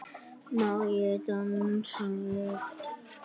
Má ég dansa við þig?